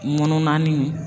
Mununannin.